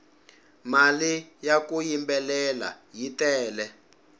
mali ya ku yimbelela yi tele